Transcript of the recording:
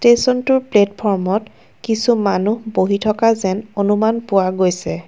ষ্টেচনটোৰ প্লেটফ্ৰমত কিছু মানুহ বহি থকা যেন অনুমান পোৱা গৈছে।